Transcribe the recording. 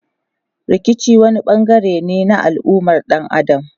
Rikici wani bangare ne na al'ummar dan Adam.